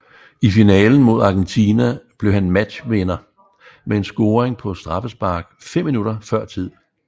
I finalen mod Argentina blev han matchvinder med en scoring på straffespark fem minutter før tid